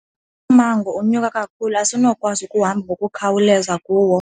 Lo mmango unyuka kakhulu asinakukwazi ukuhamba ngokukhawuleza kuwo.